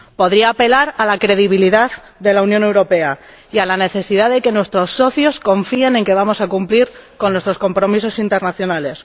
Podría apelar a la credibilidad de la Unión Europea y a la necesidad de que nuestros socios confíen en que vamos a cumplir con nuestros compromisos internacionales